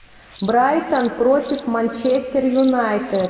брайтон против манчестер юнайтед